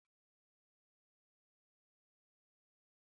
Ibadar rantsuwa ta kasance muhimman lokuta da ke tabbatar da sadaukar da kai ga al'ada.